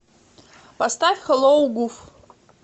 поставь хэллоу гуф